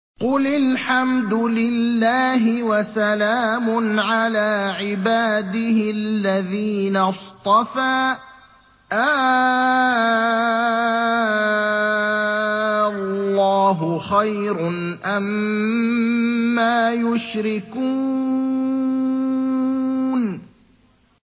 قُلِ الْحَمْدُ لِلَّهِ وَسَلَامٌ عَلَىٰ عِبَادِهِ الَّذِينَ اصْطَفَىٰ ۗ آللَّهُ خَيْرٌ أَمَّا يُشْرِكُونَ